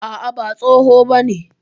A'a, ba tsoho bane.